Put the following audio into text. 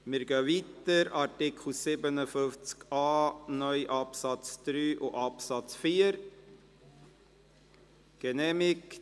Jetzt stimmen wir noch darüber ab, ob man diesen Antrag so ins Gesetz schreiben will.